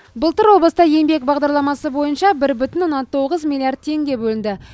былтыр облыста еңбек бағдарламасы бойынша бір бүтін оннан тоғыз миллиард теңге бөлінді